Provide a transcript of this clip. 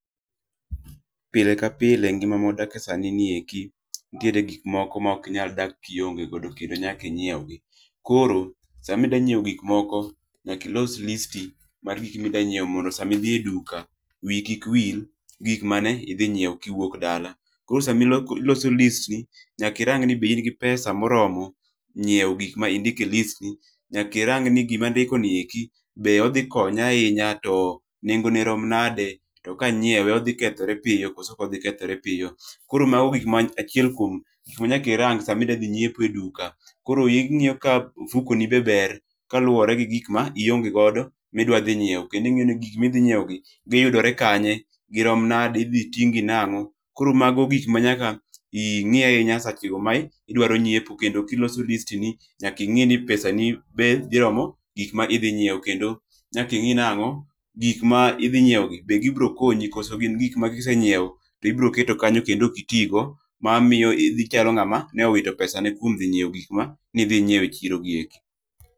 Pile ka pile ngima mwadake sani nieki, ntiere gik moko maokinyal dak kionge godo kendo nyaka inyieu gi. Koro, samidwa nyieo gik moko, nyaki los listi mar gik midanyieo mondo sami dhie duka, wiyi kik wil gi gik mane idhi nyieo kiwuok dala. Koro sami lok iloso listni, nayki rang ni be in gi pesa moromo nyieo gik ma indike listni, nyaki rang ni gimandiko nieki be odhi konya ainya to nengone rom nade, to kanyiewe odhi kethre pio koso okodhi kethre pio. Koro mago gik ma achiel kwom gik manyaki rang sami dwadhi nyiepo e duka. Koro ing'io ka ofukoni be ber kaluwore gi gik ma ionge godo midwa dhie nyieo. Kendo ing'io ni gik midhi nyieogi giyudore kanye, girom nade, idhi ting'gi nang'o. Koro mago gik manyaka ing'i ainya sachego mai idwaro nyiepo kendo iloso listni, nyaka ing'i ni pesa ni dhi romo gik maidhi nyieo kendo nyaki ng'ii nang'o, gik maidhi nyieogi be gibro konyi koso gin gik makisenyieo tibro keto kanyo kendo okitii go mamio idh ichalo ng'ama neowito pesane kwom nyieo gik ma nidhi nyieo e chiro gieki.